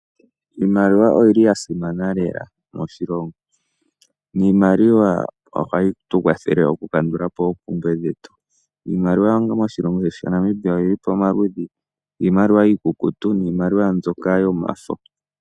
Iimaliwa oyi li yasimana lela moshilongo. Iimaliwa ohayi tu kwathele okukandulapo oompumbwe dhetu. Iimaliwa moshilongo shaNamibia oyi li po omaludhi, iimaliwa mbyoka iikukutu, naambyoka yomafo.